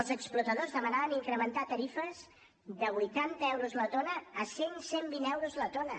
els explotadors demanaven incrementar tarifes de vuitanta euros la tona a cent cent vint euros la tona